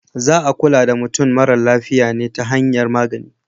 Za a kula da mutum mara lafiya ne ta hanyar magani.